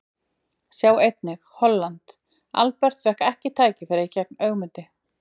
Sjá einnig: Holland: Albert fékk ekki tækifæri gegn Ögmundi